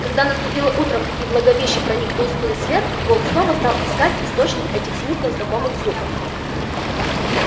когда наступило утром и в логовище проник тусклый свет волк снова стал искать источник этих смутно знакомых звуков